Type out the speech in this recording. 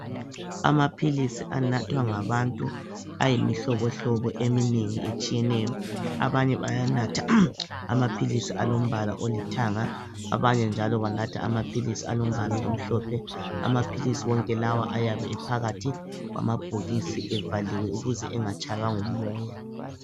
Amaphilisi anathwa ngabantu ayimihlobohlobo eminengi etshiyeneyo. Abanye bayanatha amaphilis alombala olithanga, abanye njalo banatha amaphilisi alombala omhlophe. Amaphilisi wonke lawa ayabe ephakathi kwamabhokisi evaliwe ukuze engatshaywa ngumoya.